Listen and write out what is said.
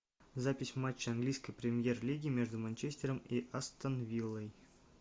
запись матча английской премьер лиги между манчестером и астон виллой